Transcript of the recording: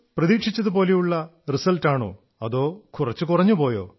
പ്രതീക്ഷിച്ചതുപോലുള്ള റിസൽട്ടാണോ അതോ കുറച്ചു കുറഞ്ഞുപോയോ